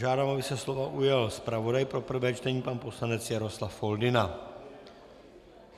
Žádám, aby se slova ujal zpravodaj pro prvé čtení pan poslanec Jaroslav Foldyna.